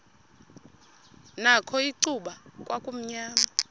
nakho icuba kwakumnyama